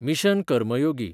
mission Karmayogi